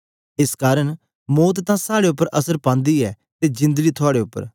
एस कारन मौत तां साड़े उपर असर पांदी ऐ ते जिंदड़ी थुआड़े उपर